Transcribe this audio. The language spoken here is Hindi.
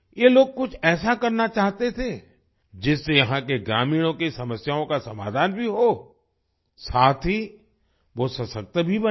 ये लोग कुछ ऐसा करना चाहते थे जिससे यहाँ के ग्रामीणों की समस्याओं का समाधान भी हो साथ ही वो सशक्त भी बनें